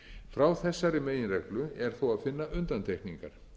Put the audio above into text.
frá þessari meginreglu er þó að finna undantekningar